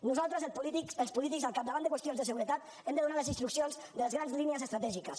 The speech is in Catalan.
nosaltres els polítics al capdavant de qüestions de seguretat hem de donar les instruccions de les grans línies estratègiques